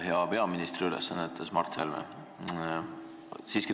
Hea peaministri ülesannetes Mart Helme!